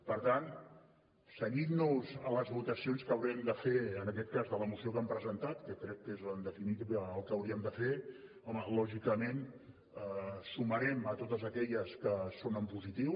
per tant cenyint nos a les votacions que haurem de fer en aquest cas de la moció que han presentat que crec que és en definitiva el que hauríem de fer home lògicament ens sumarem a totes aquelles que són en positiu